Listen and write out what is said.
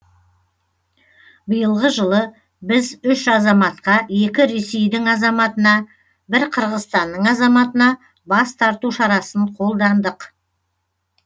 биылғы жылы біз үш азаматқа екі ресейдің азаматына бір қырғызстанның азаматына бас тарту шарасын қолдандық